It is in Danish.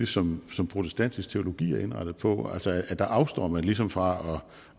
som som protestantisk teologi er indrettet på altså der afstår man ligesom fra